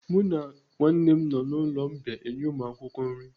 Mụ na nwanne m nọ n'ụlọ mbìa enye ụmụakwụkwọ nri.